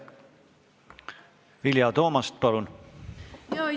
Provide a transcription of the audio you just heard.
Vilja Toomast, palun!